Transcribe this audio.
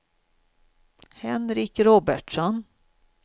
Henrik Robertsson